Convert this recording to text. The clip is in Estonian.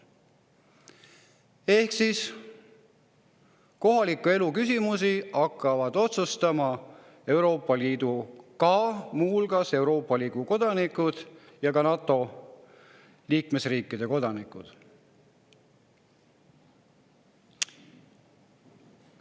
Ehk kohaliku elu küsimusi hakkavad muu hulgas otsustama Euroopa Liidu kodanikud ja ka NATO liikmesriikide kodanikud.